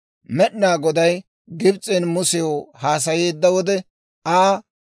Med'inaa Goday Gibs'en Musew haasayeedda wode Aa,